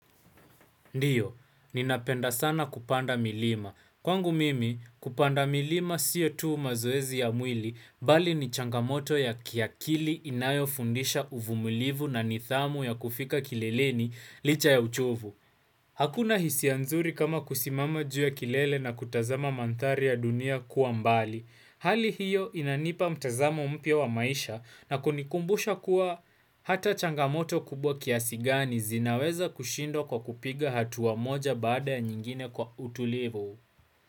Ndiyo, ninapenda sana kupanda milima. Kwangu mimi, kupanda milima siyo tuu mazoezi ya mwili, bali ni changamoto ya kiakili inayo fundisha uvumilivu na nidhamu ya kufika kilelini licha ya uchovu Hakuna hisi anzuri kama kusimama juu ya kilele na kutazama mandhari ya dunia kuambali. Hali hiyo inanipa mtazamo mpya wa maisha na kunikumbusha kuwa hata changamoto kubwa kiasigani zinaweza kushindwa kwa kupiga hatua moja baada ya nyingine kwa utulivu.